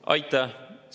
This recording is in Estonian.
Aitäh!